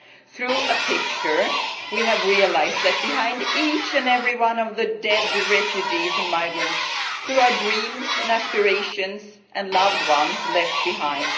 Through a picture we have realised that behind each and every one of the dead refugees and migrants there are dreams and aspirations and loved ones left behind.